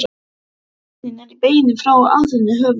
Keppnin er í beinni frá Aþenu, höfuð